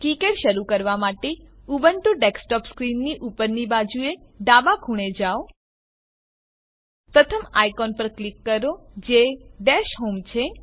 KiCad શરૂ કરવા માટે ઉબુન્ટુ ડેસ્કટોપ સ્ક્રીનની ઉપરની બાજુએ ડાબા ખૂણે જાઓ પ્રથમ આઇકોન પર ક્લિક કરો જે ડેશ હોમ છે